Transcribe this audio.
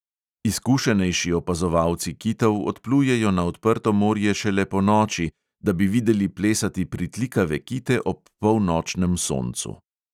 Izkušenejši opazovalci kitov odplujejo na odprto morje šele ponoči, da bi videli plesati pritlikave kite ob polnočnem soncu.